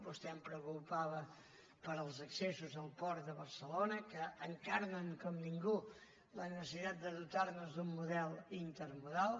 vostè em preguntava pels accessos al port de barcelona que encarnen com ningú la necessitat de dotar nos d’un model intermodal